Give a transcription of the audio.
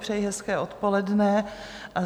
Přeji hezké odpoledne.